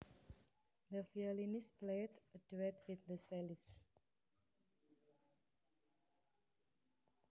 The violinist played a duet with the cellist